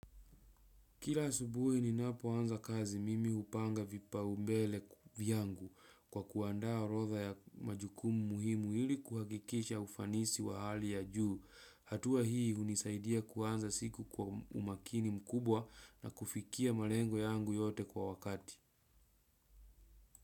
Kila asubuhi ninapoanza kazi mimi hupanga vipaumbele vyangu kwa kuandaa orodha ya majukumu muhimu ili kuhakikisha ufanisi wa hali ya juu. Hatua hii hunisaidia kuanza siku kwa umakini mkubwa na kufikia malengo yangu yote kwa wakati.